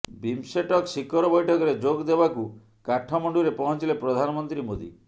BIMSTEC ଶିଖର ବୈଠକରେ ଯୋଗ ଦେବାକୁ କାଠମଣ୍ଡୁରେ ପହଞ୍ଚିଲେ ପ୍ରଧାନମନ୍ତ୍ରୀ ମୋଦି